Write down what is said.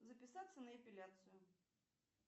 записаться на эпиляцию